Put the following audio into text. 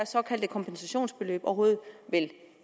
såkaldte kompensationsbeløb overhovedet vil